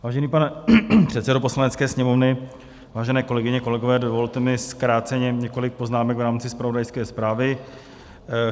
Vážený pane předsedo Poslanecké sněmovny, vážené kolegyně, kolegové, dovolte mi zkráceně několik poznámek v rámci zpravodajské zprávy.